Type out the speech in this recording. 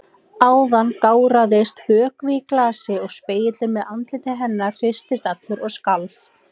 Áðan gáraðist vökvi í glasi og spegillinn með andliti hennar í hristist allur og skalf.